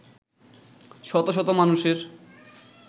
শত শত মানুষের